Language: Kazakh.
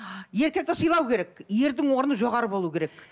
еркекті сыйлау керек ердің орны жоғары болу керек